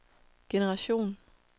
generation